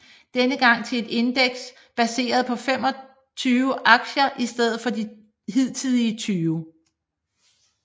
Denne gang til et indeks baseret på 25 aktier i stedet for de hidtidige 20